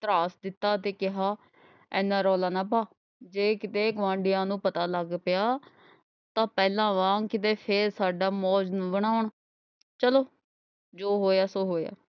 ਧ੍ਰਾਸ ਦਿੱਤਾ ਤੇ ਕਿਹਾ ਐਨਾ ਰੌਲਾ ਨਾ ਪਾ। ਜੇ ਕਿਤੇ ਗੁਆਂਢੀਆਂ ਨੂੰ ਪਤਾ ਲੱਗ ਪਿਆ ਤਾਂ ਪਹਿਲਾਂ ਵਾਂਗ ਕਿਤੇ ਫੇਰ ਸਾਡਾ ਮੌਜੂ ਨਾ ਬਣਾ। ਚਲੋ ਜੋ ਹੋਇਆ ਸੋ ਹੋਇਆ।